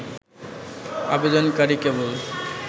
আবেদনকারী কেবল